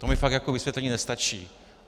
To mi fakt jako vysvětlení nestačí.